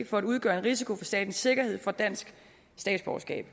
for at udgøre en risiko for statens sikkerhed får dansk statsborgerskab